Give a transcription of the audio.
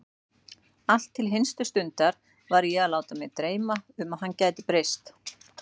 Allt til hinstu stundar var ég að láta mig dreyma um að hann gæti breyst.